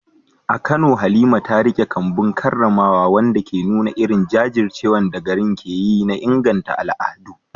A Kano, Halima ta riƙe kambun karramawa, wanda ke nuna irin jajircewar da garin ke yi na inganta al’adu.